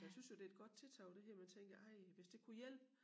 Så jeg synes jo det et godt tiltag det her man tænker ej hvis det kunne hjælpe